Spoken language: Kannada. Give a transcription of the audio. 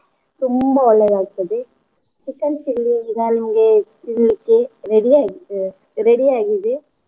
ತುಂಬಾ ಒಳ್ಳೇದ್ ಆಗ್ತದೆ chicken chilli ಈಗಾ ನಿಮ್ಗೆ full ready ಆಯ್ತ್ ready ಆಗಿದೆ.